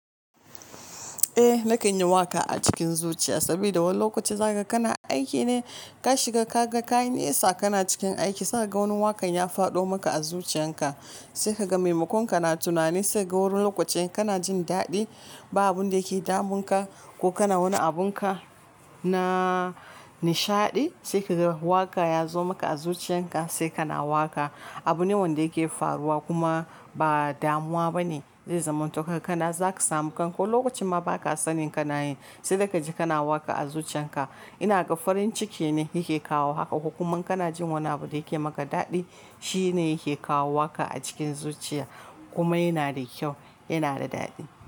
Eh nake yin waka a cikin zuciya saboda wani lokaci zaka kana aiki ne kashi ga kaga ka yi nesa kana cikin aiki sai ka ga wani wakan ya faɗo maka a zuciyan ka sai ka ga maimakon ka na tunani sai ga wani lokacin kana jin daɗi ba abun da yake damun ka ko kana wani abun ka na nishaɗi sai ka ga waka ya zo maka a zuciyan ka sai kana waka. Abu ne wanda yake faruwa kuma ba damuwa ba ne zai zama to karka kana zaka samu kan ko lokacin ma baka sanin kana yin sai da ka ji kana waka a zuciyan ka. Ina ga farin ciki ne yake kawo haka ko kuma kana jin wani abu da yake maka daɗi shi ne yake kawo waka a cikin zuciya kuma yana da kyau, yana da daɗi.